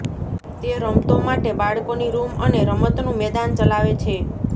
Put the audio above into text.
તે રમતો માટે બાળકોની રૂમ અને રમતનું મેદાન ચલાવે છે